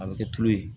A bɛ kɛ tulo ye